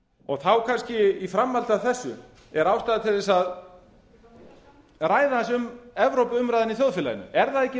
viðræðuferlinu þá kannski í framhaldi af þessu er ástæða til að ræða aðeins um evrópuumræðuna í þjóðfélaginu er það ekki